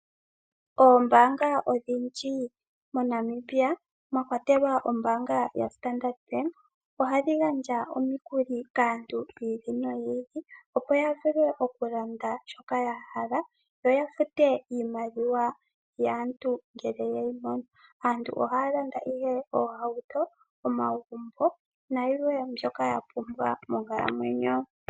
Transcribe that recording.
Oombaanga odhindji moNamibia mwa kwatelwa ombaanga yaStandard Bank ohadhi gandja omikuli kaantu yi ili noyi ili, opo ya vule okulanda shoka ya hala yo ya fute iimaliwa yaantu ngele ye yi mono. Aantu ohaya landa ihe oohauto, omagumbo nayilwe mbyoka ya pumbwa moonkalamwenyo.